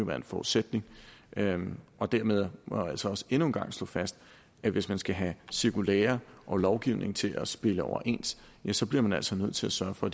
være en forudsætning dermed må dermed må jeg altså endnu en gang slå fast at hvis man skal have cirkulærer og lovgivning til at stemme overens ja så bliver man altså nødt til at sørge for